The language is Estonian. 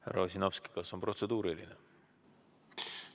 Härra Ossinovski, kas teil on protseduuriline küsimus?